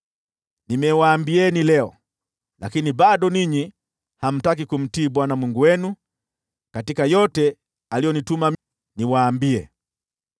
Nimewaambieni leo, lakini bado ninyi hamtaki kumtii Bwana Mungu wenu katika yote aliyonituma niwaambie.